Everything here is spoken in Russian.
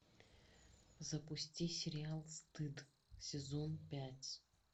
запусти сериал стыд сезон пять